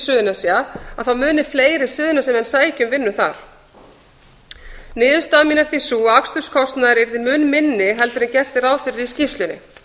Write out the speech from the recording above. flyst til suðurnesja muni fleiri suðurnesjamenn sækja vinnu þar niðurstaða mín er því sú að aksturskostnaður yrði mun minni heldur en gert er ráð fyrir í skýrslunni